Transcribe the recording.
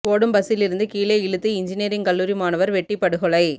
ஓடும் பஸ்சிலிருந்து கீழே இழுத்து இன்ஜினியரிங் கல்லூரி மாணவர் வெட்டிப் படுகொலை